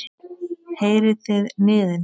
Heyrið þið niðinn?